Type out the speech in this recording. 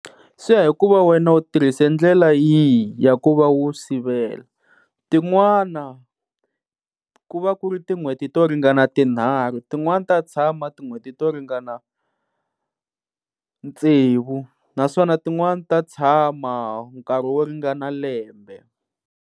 Swi ya hi ku va wena u tirhise ndlela yihi ya ku va u sivela, tin'wana ku va ku ri tin'hweti to ringana tinharhu tinwani ta tshama tin'hweti to ringana tsevu naswona tin'wani ta tshama nkarhi wo ringana lembe.